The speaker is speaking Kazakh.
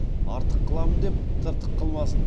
артық қыламын деп тыртық қылмасын